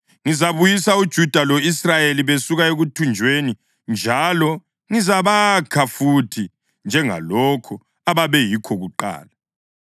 Ngizabuyisa uJuda lo-Israyeli besuka ekuthunjweni njalo ngizabakha futhi njengalokhu ababeyikho kuqala.